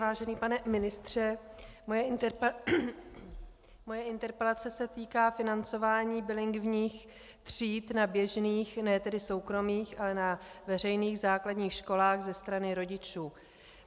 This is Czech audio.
Vážený pane ministře, moje interpelace se týká financování bilingvních tříd na běžných, ne tedy soukromých, ale na veřejných základních školách ze strany rodičů.